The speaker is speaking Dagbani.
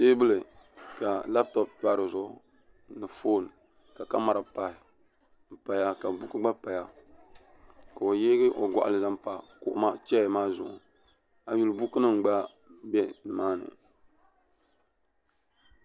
teebuli ka labtop pa dizuɣu ni foon ka kamɛra pahi n paya ka buku gba paya ka o yeegi o goɣali zaŋ pa chɛya maa zuɣu a yi yuli buku nim gba bɛ nimaani